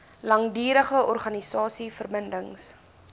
langdurige organiese verbindings